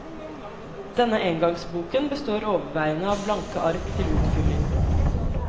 Denne engangsboken består overveiende av blanke ark til utfylling.